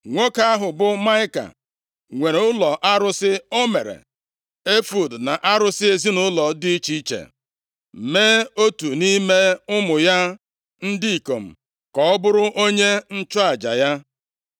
Nwoke ahụ bụ Maịka nwere ụlọ arụsị, o mere efọọd na arụsị ezinaụlọ + 17:5 Maọbụ, terafim dị iche iche, mee otu nʼime ụmụ ya ndị ikom ka ọ bụrụ onye nchụaja ya.